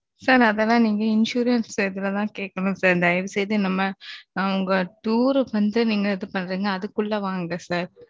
sir அதால நீங்க insurance stage லதான் கேட்கணும் sir தயவு செய்து நம்ம, tour வந்து நீங்க இது பண்றீங்க அதுக்குள்ள வாங்க sir